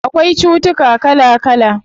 Akwai cutuka kala kala